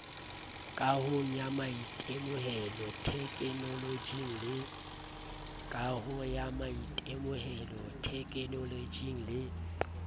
kahong ya maitemohelo thekenoloje le